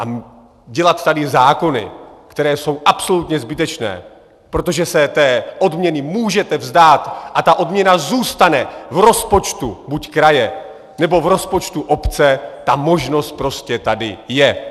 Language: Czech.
A dělat tady zákony, které jsou absolutně zbytečné, protože se té odměny můžete vzdát a ta odměna zůstane v rozpočtu buď kraje, nebo v rozpočtu obce, ta možnost prostě tady je.